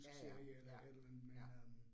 Ja ja, ja, ja